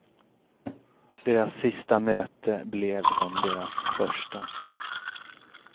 Deras sista möte blev som deras första.